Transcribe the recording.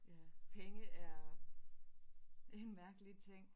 Ja penge er en mærkelig ting